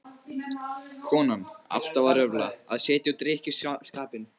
Konan alltaf að röfla, að setja út á drykkjuskapinn.